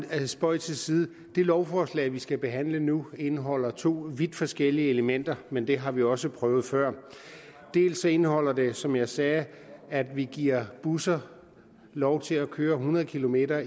er spøg til side det lovforslag vi skal behandle nu indeholder to vidt forskellige elementer men det har vi jo også prøvet før dels indeholder det som jeg sagde at vi giver busser lov til at køre hundrede kilometer